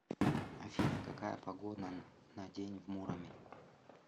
афина какая погода на день в муроме